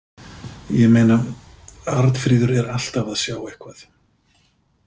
ég meina, Arnfríður er alltaf að sjá eitthvað.